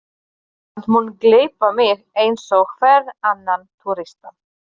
Ísland mun gleypa mig eins og hvern annan túrista.